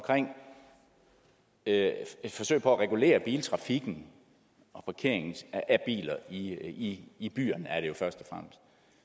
at forsøge at regulere biltrafikken og parkeringen af biler i i byerne